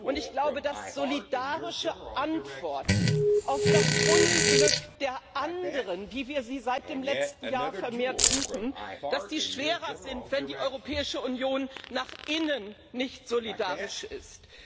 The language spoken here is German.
Und ich glaube, dass solidarische Antworten auf das Unglück der anderen, wie wir sie seit dem letzten Jahr vermehrt suchen, schwerer sind, wenn die Europäische Union nach innen nicht solidarisch ist.